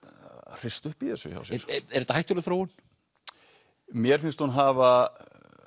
hrista upp í þessu hjá sér er þetta hættuleg þróun mér finnst hún hafa